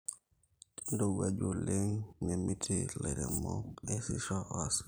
teneirowuaju oleng nemiti lairemok eesisho asioki